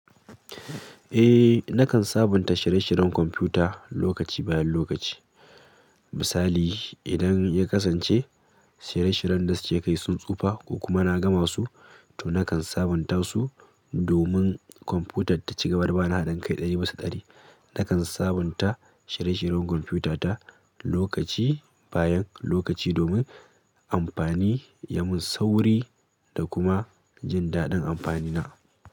Eh, nakan sabunta shirye-shiryen kwamfuta lokaci bayan lokaci. Misali, idan ya kasance shiyen-shiryen da suke kai sun tsufa ko kuma sun gama su, nakan sabunta su domin kwamfutar ta cigaba da bani hadin kai dari bisa dari. Nakan sabunta shirye-shiryen kwamfutata lokaci bayan lokaci amfani ya min sauri da kuma jin daɗin amfani na.